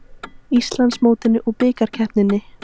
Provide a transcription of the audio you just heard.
Íslandsmótinu og Bikarkeppninni.